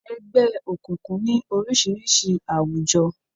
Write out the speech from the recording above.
Ẹgbẹ́ òkùnkùn ní oríṣiríṣi àwùjọ.